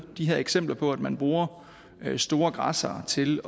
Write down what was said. de her eksempler på at man bruger store græssere til